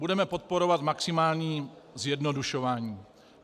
Budeme podporovat maximální zjednodušování.